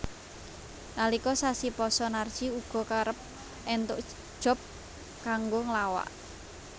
Nalika sasi pasa Narji uga kerep entuk job kanggo nglawak